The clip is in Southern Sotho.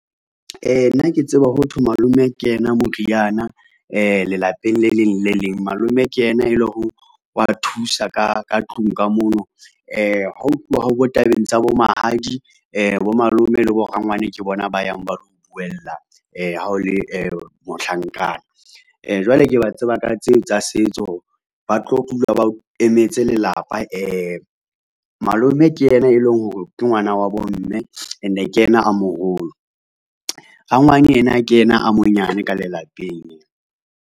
Nna ke tseba ho thwe malome ke yena moriana lelapeng le leng le le leng. Malome ke yena e le hore wa thusa ka tlung ka mono. Ha ho tluwa ho bo tabeng tsa bo mahadi bo malome le bo rangwane ke bona ba yang ba lo o buella ha o le mohlankana. Jwale ke ba tseba ka tseo tsa setso. Ba tlo dula ba emetse lelapa. Malome ke yena e leng hore ke ngwana wa bo mme, and-e ke yena a moholo. Rangwane yena, ke yena a monyane ka lelapeng.